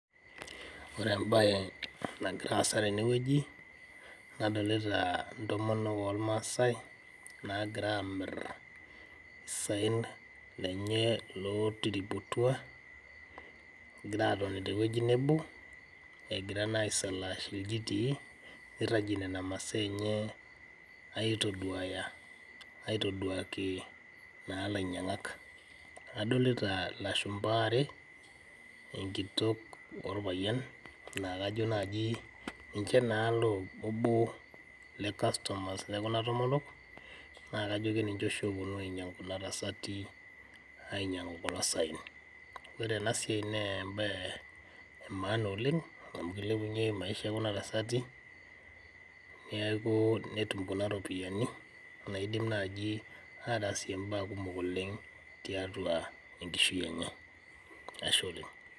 Ore embae nagiraasa tenewueji nadolita ntomonok olmasai naagira amirr saen lenye lotiriputua, egira atoni tewueji nebo egira naa aisalaash iljitii neirragie nena masaa enyee aitoduaya, aitoduakii naa lainyang'ak. Adolita lashumpa aare, enkitok olpayian naakajo najii ninche naa oboo le kastomas le kuba tomonok naa kajo keninche oshi loopuonu ainyang' kuna tasati , ainyang' u kulo saen. Ore enasiai nee embae e maan oleng amn keilepunye maisha e kuna tasati neaku netum kuna ropiyani naaidim naji ataasie imbaa kumok oleng tiatua enkishui enye, ashe oleng.